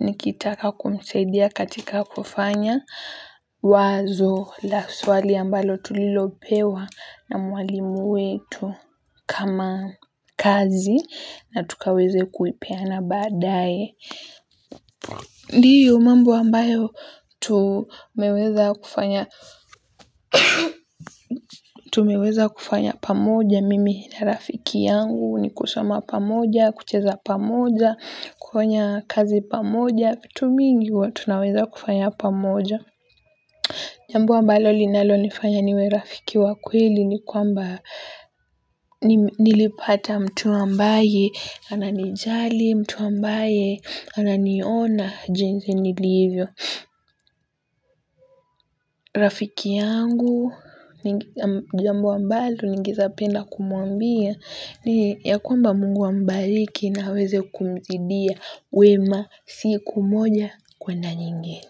nikitaka kumsaidia katika kufanya. Wazo la swali ambalo tulilopewa na mwalimu wetu kama kazi na tukaweze kuipeana badaye. Ndiyo mambo ambayo tumeweza kufanya pamoja mimi na rafiki yangu ni kusoma pamoja, kucheza pamoja, kufanya kazi pamoja, vitu mingi huwa tunaweza kufanya pamoja. Jambo ambalo linalonifanya niwe rafiki wa kweli ni kwamba nilipata mtu ambaye ananijali, mtu ambaye ananiona jinsi nilivyo. Rafiki yangu, jambo ambalo ningeweza penda kumwambia ni ya kwamba mungu ambariki na aweze kumzidia wema siku moja kwenda nyingine.